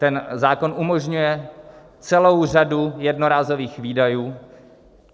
Ten zákon umožňuje celou řadu jednorázových výdajů.